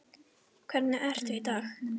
Hvernig ertu í dag?